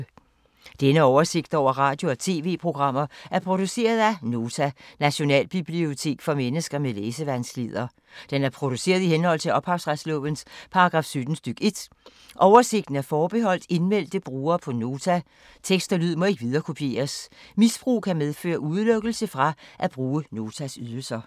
Denne oversigt over radio og TV-programmer er produceret af Nota, Nationalbibliotek for mennesker med læsevanskeligheder. Den er produceret i henhold til ophavsretslovens paragraf 17 stk. 1. Oversigten er forbeholdt indmeldte brugere på Nota. Tekst og lyd må ikke viderekopieres. Misbrug kan medføre udelukkelse fra at bruge Notas ydelser.